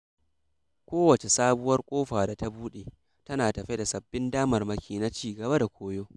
Ko wacce sabuwar ƙofa da ta buɗe, tana tafe da sabbin damarmaki na ci gaba da koyo.